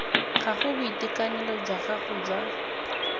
gago boitekanelo jwa gago jwa